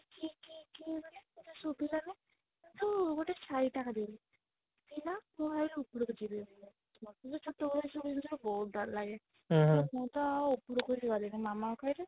କିଏ କିଏ କିଏ ବୋଲି ତାକୁ ଶୁଭିଲାଣି କିନ୍ତୁ ଗୋଟେ ଛାଇଟା ଖାଲି ଥିଲା ମୁଁ ଭାବିଲି ଉପରକୁ ଯିବି ବୋଲି ମତେ ତ ଚିତ ବୟସରୁ ଏସବୁ ବହୁତ ଡର ଲାଗେ ତ ମୁଁ ତ ଆଉ ଉପରକୁ ଆଉ ଗଲିଣି ମାମା ଙ୍କୁ କହିଲି